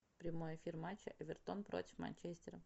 прямой эфир матча эвертон против манчестера